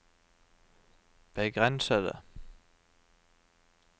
begrensede